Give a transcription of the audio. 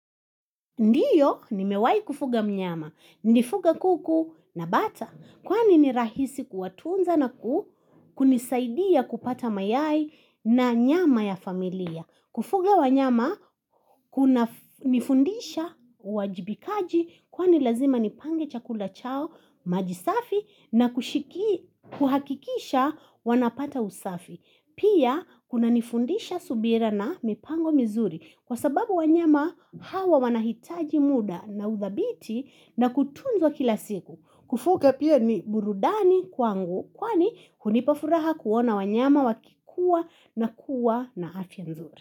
Ndiyo, nimewai kufuga mnyama. Nifuga kuku na bata. Kwani ni rahisi kuwatunza na ku, kunisaidia kupata mayai na nyama ya familia. Kufuga wanyama, kuna nifundisha uwajibikaji kwani lazima nipange chakula chao maji safi na kuhakikisha wanapata usafi. Pia kuna nifundisha subira na mipango mizuri kwa sababu wanyama hawa wanahitaji muda na uthabiti na kutunzwa kila siku. Kufuga pia ni burudani kwangu kwani hunipafuraha kuona wanyama wakikuwa na kuwa na afya nzuri.